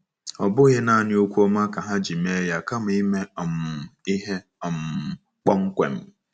Ọ bụghị nanị okwu ọma ka ha ji mee ya kama ime um ihe um kpọmkwem.